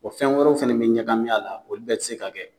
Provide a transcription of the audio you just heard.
Wa fɛn wɛrɛw fana bɛ ɲagami a la, olu bɛ se ka kɛ